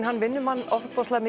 hann vinnur mann ofboðslega